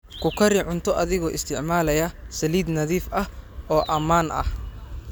Ku kari cunto adigoo isticmaalaya saliid nadiif ah oo ammaan ah.